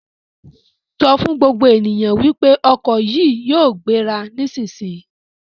Sọ fún gbogbo ènìyàn wípé ọkọ̀ yìí yóò gbéra nísisìyìí!